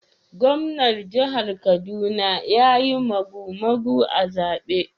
Gwamnan jihar Kaduna ya yi magumagu a zaben